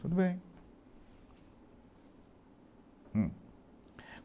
Tudo bem. Hm